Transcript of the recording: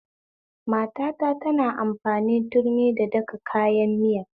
Matata tana amfani turmi da daka kayan miya